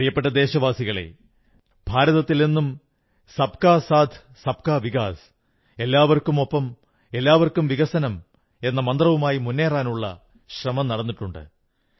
പ്രിയപ്പെട്ട ദേശവാസികളേ ഭാരതത്തിൽ എന്നും സബ് കാ സാഥ്സബ്കാ വികാസ് ഏവർക്കുമൊപ്പം ഏവർക്കും വികസനം എന്ന മന്ത്രവുമായി മുന്നേറാനുള്ള ശ്രമം നടന്നിട്ടുണ്ട്